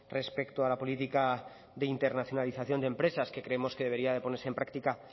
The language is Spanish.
respecto a la política de internacionalización de empresas que creemos que debería de ponerse en práctica